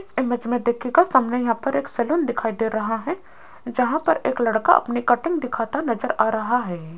Image में देखिएगा सामने यहां पर एक सलून दिखाई दे रहा हैं जहां पर एक लड़का अपनी कटिंग दिखता नजर आ रहा हैं।